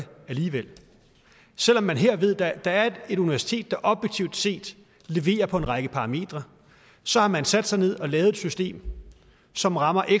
alligevel selv om man her ved at der er et universitet der objektivt set leverer på en række parametre så har man sat sig ned og lavet et system som rammer